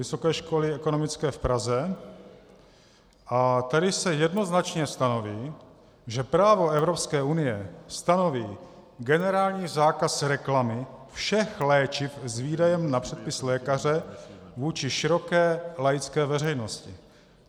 Vysoké školy ekonomické v Praze a tady se jednoznačně stanoví, že právo Evropské unie stanoví generální zákaz reklamy všech léčiv s výdejem na předpis lékaře vůči široké laické veřejnosti.